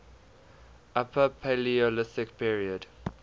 upper paleolithic period